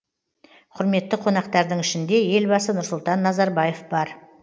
құрметті қонақтардың ішінде елбасы нұрсұлтан назарбаев бар